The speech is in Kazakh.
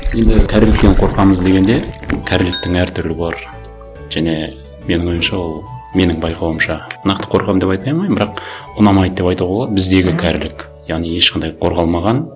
енді кәріліктен қорқамыз дегенде кәріліктің әр түрі бар және менің ойымша ол менің байқауымша нақты қорқамын деп айта алмаймын бірақ ұнамайды деп айтуға болады біздегі кәрілік яғни ешқандай қорғалмаған